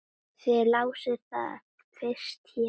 Þið lásuð það fyrst hér!